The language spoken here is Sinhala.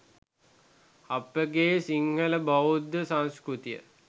අපගේ සිංහල බෞද්ධ සංස්කෘතිය